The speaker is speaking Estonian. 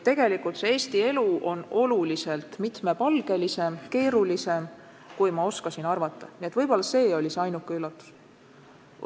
Tegelikult on Eesti elu oluliselt mitmepalgelisem, keerulisem, kui ma oskasin arvata – võib-olla see oli ainuke üllatus.